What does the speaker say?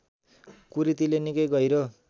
कुरीतिले निकै गहिरो